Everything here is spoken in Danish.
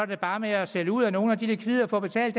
da bare med at sælge ud af nogle af de likvider for at betale